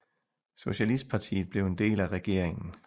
Socialistpartiet blev en del af regeringen